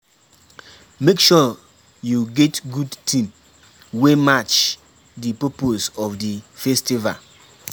Make sure you get good theme wey match di purpose of di festival